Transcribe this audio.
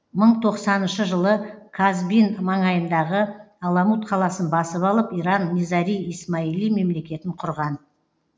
мың тоқсаныншы жылы казбин маңайындағы аламут қаласын басып алып иран низари исмаили мемлекетін құрған